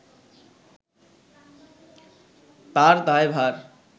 তার দায়ভার